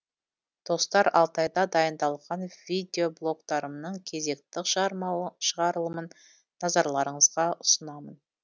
достар алтайда дайындалған видеблогтарымның кезекті шығарылымын назарларыңызға ұсынамын